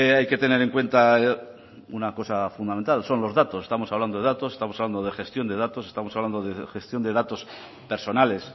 hay que tener en cuenta una cosa fundamental son los datos estamos hablando de datos estamos hablando de gestión de datos estamos hablando de gestión de datos personales